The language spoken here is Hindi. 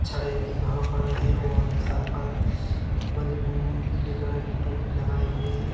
छड़े भी वहां पर है और सर पर मजबूत पीले कलर की टोपी लगाई हुई है।